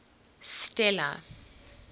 stella